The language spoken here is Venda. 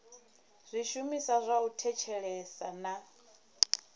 zwishumiswa zwa u thetshelesa na